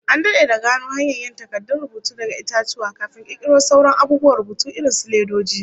An dade da gano hanyar yin takardun rubutu daga itatuwa, kafin kirkiro sauran abubuwan rubutu irin su ledoji